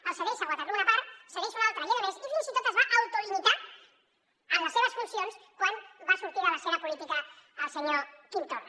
en cedeix a waterloo una part en cedeix una altra a lledoners i fins i tot es va autolimitar en les seves funcions quan va sortir de l’escena política el senyor quim torra